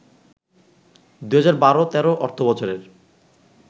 ২০১২-১৩ অর্থবছরের